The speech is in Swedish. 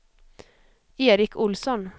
Eric Olsson